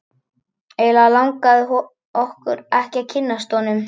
Og eiginlega langaði okkur ekki að kynnast honum.